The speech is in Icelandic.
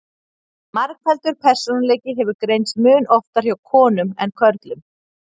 margfaldur persónuleiki hefur greinst mun oftar hjá konum en körlum